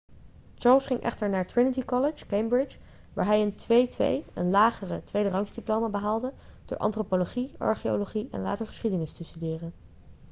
charles ging echter naar trinity college cambridge waar hij een 2:2 een lagere tweederangsdiploma behaalde door antropologie archeologie en later geschiedenis te studeren